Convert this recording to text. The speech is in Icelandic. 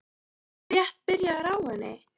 Ég var rétt byrjaður á henni.